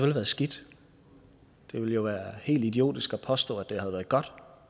været skidt det ville jo være helt idiotisk at påstå at det har været godt